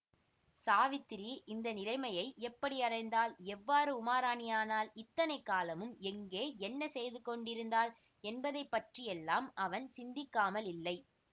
சாவித்திரி இந்த நிலைமையை எப்படி அடைந்தாள் எவ்வாறு உமாராணி ஆனாள் இத்தனை காலமும் எங்கே என்ன செய்துகொண்டிருந்தாள் என்பதை பற்றியெல்லாம் அவன் சிந்திக்காமலில்லை